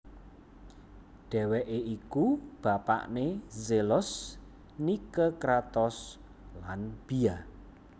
Dhèwèké iku bapakné Zelos Nike Kratos lan Bia